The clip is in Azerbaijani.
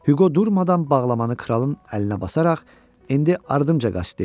Hüqo durmadan bağlamanı kralın əlinə basaraq, "indi ardımca qaç" dedi